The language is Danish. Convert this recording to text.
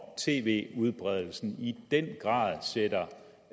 tv udbredelsen i den grad sætter